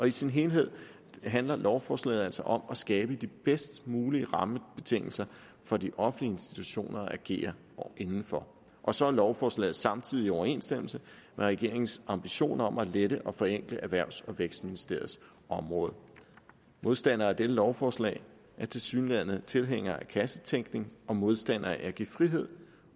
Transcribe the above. i sin helhed handler lovforslaget altså om at skabe de bedst mulige rammebetingelser for de offentlige institutioner at agere inden for og så er lovforslaget samtidig i overensstemmelse med regeringens ambition om at lette og forenkle erhvervs og vækstministeriets område modstandere af dette lovforslag er tilsyneladende tilhængere af kassetænkning og modstandere af at give frihed